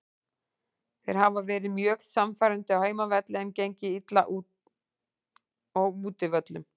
Þeir hafa verið mjög sannfærandi á heimavelli en gengið illa á útivöllum.